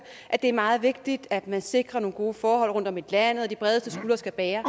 at det er meget vigtigt at man sikrer nogle gode forhold rundtom i landet og at de bredeste skuldre skal bære